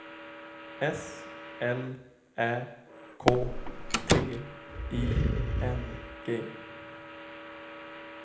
S L Ä K T I N G